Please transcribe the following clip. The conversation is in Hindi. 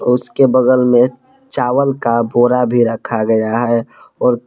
उसके बगल मे चावल का बोरा भी रखा गया है और--